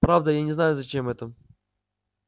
правда я не знаю зачем это